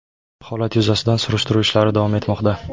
Holat yuzasidan surishtiruv ishlari davom etmoqda.